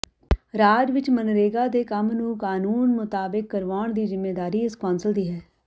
ਰਾਜ ਵਿੱਚ ਮਗਨਰੇਗਾ ਦੇ ਕੰਮ ਨੂੰ ਕਾਨੂੰਨ ਮੁਤਾਬਿਕ ਕਰਵਾਉਣ ਦੀ ਜ਼ਿੰਮੇਵਾਰੀ ਇਸ ਕੌਂਸਲ ਦੀ ਹੈ